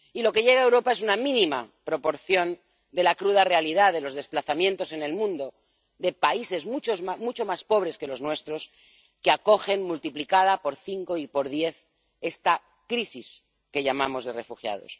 Lo que llega a Europa es una mínima proporción de la cruda realidad de los desplazamientos en el mundo, de países mucho más pobres que los nuestros que acogen, multiplicada por cinco y por diez, esta crisis que llamamos de refugiados.